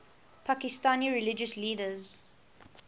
pakistani religious leaders